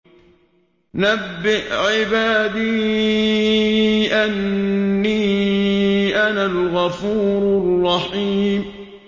۞ نَبِّئْ عِبَادِي أَنِّي أَنَا الْغَفُورُ الرَّحِيمُ